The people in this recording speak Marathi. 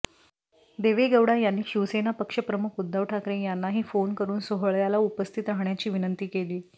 देवेगौडा यांनी शिवसेना पक्षप्रमुख उद्धव ठाकरे यांनाही फोन करून सोहळ्याला उपस्थित राहण्याची विनंती केली